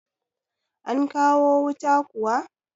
An kawo wuta kuwa?